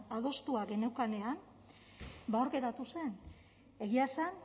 adostua geneukanean ba hor geratu zen egia esan